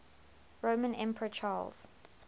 roman emperor charles